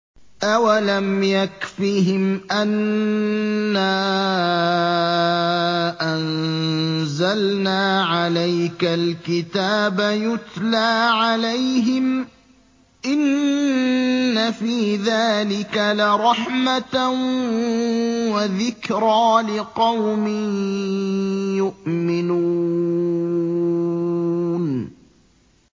أَوَلَمْ يَكْفِهِمْ أَنَّا أَنزَلْنَا عَلَيْكَ الْكِتَابَ يُتْلَىٰ عَلَيْهِمْ ۚ إِنَّ فِي ذَٰلِكَ لَرَحْمَةً وَذِكْرَىٰ لِقَوْمٍ يُؤْمِنُونَ